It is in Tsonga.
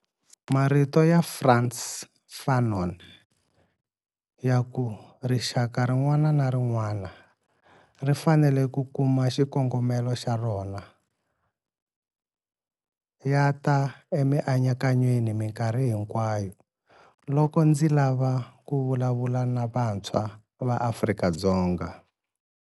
Hi marito ya Frantz Fanon ya ku 'rixaka rin'wana na rin'wana ri fanele ku kuma xikongomelo xa rona ya ta emianakanyweni mikarhi hinkwayo loko ndzi lava ku vulavula na vantshwa va Afrika-Dzonga.